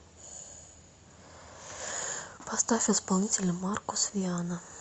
поставь исполнителя маркус виана